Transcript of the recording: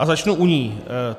A začnu u ní.